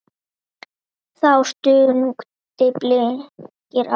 Þá stungu Blikar af.